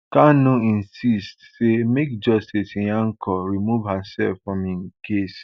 kanu insists say make justice nyako remove hersef from im case